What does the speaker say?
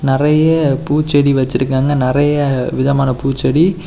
நிறைய பூச்செடி வச்சிருக்காங்க நிறைய விதமான பூச்செடி.